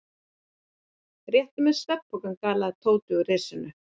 Réttu mér svefnpokana galaði Tóti úr risinu.